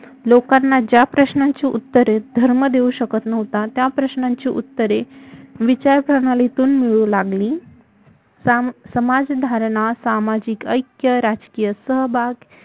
लोकांना ज्या प्रश्नांची उत्तरे धर्म देऊ शकत नव्हता त्या प्रश्नांची उत्तरे विचारप्रणालीतून मिळु लागली समाजधारणा सामाजिक ऐक्य राजकीय सहभाग